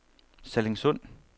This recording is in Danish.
Sallingsund